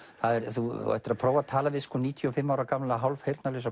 þú ættir að prófa að tala við níutíu og fimm ára gamla